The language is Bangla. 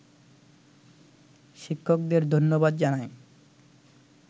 শিক্ষকদের ধন্যবাদ জানাই